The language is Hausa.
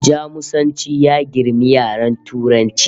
Jamusanci ya girmi yaren Turanci